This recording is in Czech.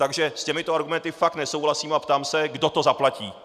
Takže s těmito argumenty fakt nesouhlasím a ptám se, kdo to zaplatí.